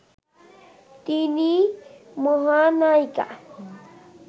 তিনি মহানায়িকা